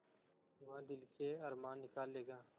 वह दिल के अरमान निकाल लेगा